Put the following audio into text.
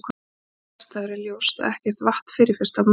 við þessar aðstæður er ljóst að ekkert vatn fyrirfinnst á merkúr